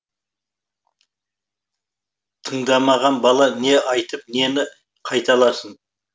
тыңдамаған бала не айтып нені қайталасын